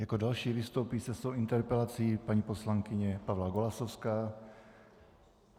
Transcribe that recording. Jako další vystoupí se svou interpelací paní poslankyně Pavla Golasowská.